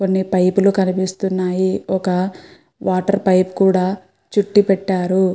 కొన్ని పైప్ లు కనిపిస్తున్నాయి. ఒక వాటర్ పైప్ కుడా చుట్టి పెట్టారు.